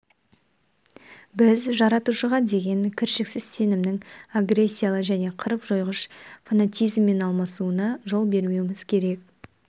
біз жаратушыға деген кіршіксіз сенімнің агрессиялы және қырып-жойғыш фанатизммен алмасуына жол бермеуіміз керек